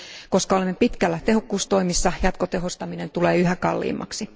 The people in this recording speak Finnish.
Koska olemme pitkällä tehokkuustoimissa, jatkotehostaminen tulee yhä kalliimmaksi.